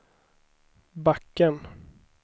backen